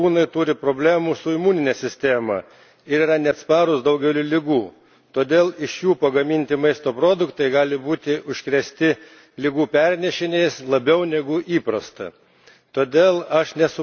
Teigiama, kad klonuoti gyvūnai turi problemų su imunine sistema ir yra neatsparūs daugeliui ligų, todėl iš jų pagaminti maisto produktai gali būti užkrėsti ligų pernešėjais labiau negu įprasta.